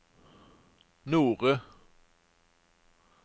Nore